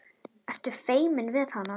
Ertu feiminn við hana?